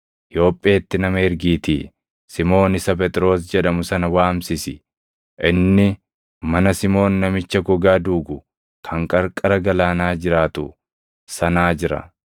Yoopheetti nama ergiitii Simoon isa Phexros jedhamu sana waamsisi. Inni mana Simoon namicha gogaa duugu kan qarqara galaanaa jiraatu sanaa jira.’